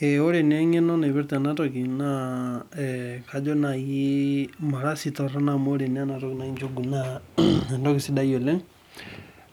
Wore naa engeno naipirta enatoki naa kajo naai mara sii torono amu wore naa enatoki naji njugu naa entoki sidai oleng'.